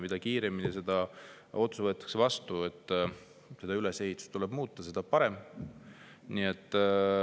Mida kiiremini võetakse vastu otsus, et seda ülesehitust muuta, seda parem.